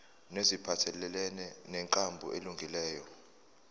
neziphathelene nenkambo elungileyo